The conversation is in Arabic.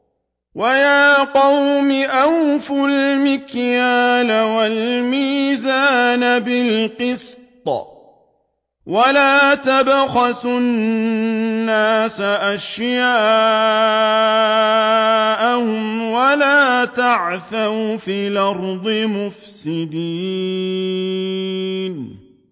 وَيَا قَوْمِ أَوْفُوا الْمِكْيَالَ وَالْمِيزَانَ بِالْقِسْطِ ۖ وَلَا تَبْخَسُوا النَّاسَ أَشْيَاءَهُمْ وَلَا تَعْثَوْا فِي الْأَرْضِ مُفْسِدِينَ